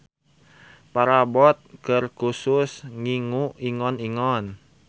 Parabot keur khusus ngingu ingon-ingon.